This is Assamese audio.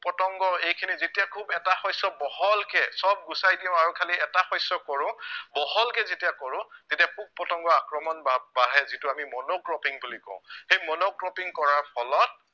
পতংগ এইখিনি যেতিয়া খুউব এটা শস্য় বহলকে সৱ গোচাই দিও আৰু খালি এটা শস্য় কৰো বহলকে যেতিয়া কৰো তেতিয়া পোক পতংগ আক্ৰমণ বা ~বাঢ়ে যিটো আমি monocropping বুলি কও সেই monocropping কৰাৰ ফলত